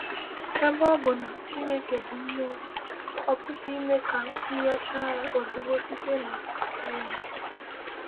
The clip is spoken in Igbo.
“Ebe ọ bụ na ‘Chineke bụ Mmụọ,’ ọ pụghị ime ka a nyochaa ya ozugbo site na sayensị.”